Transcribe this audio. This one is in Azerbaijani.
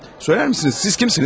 Söylərmisiniz, siz kimsiniz?